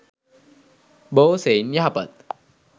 බොහෝ සෙයින් යහපත්